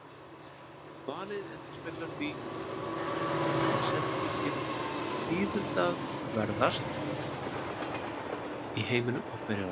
Valið endurspeglar því það sem þykir tíðindaverðast í heiminum á hverju ári.